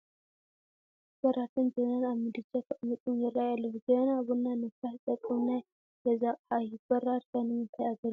ብራድን ጀበናን ኣብ ምድጃ ተቐሚጦም ይርአዩ ኣለዉ፡፡ ጀበና ቡና ንምፍላሕ ዝጠቅም ናይ ገዛ ኣቕሓ እዩ፡፡ በራድ ከ ንምንታይ ግልጋሎት ይውዕል?